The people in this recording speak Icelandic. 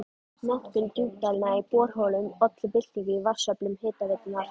Notkun djúpdælna í borholum olli byltingu í vatnsöflun Hitaveitunnar.